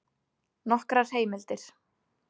Nokkrar heimildir: